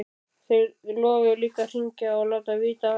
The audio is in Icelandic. Þið lofuðuð líka að hringja og láta vita af ykkur.